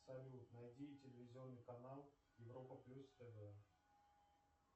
салют найди телевизионный канал европа плюс тв